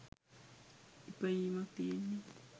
ඉපයීමක් තියෙන්නෙ.